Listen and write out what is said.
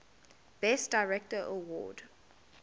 best director award